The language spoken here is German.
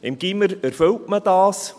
Im Gymnasium erfüllt man das.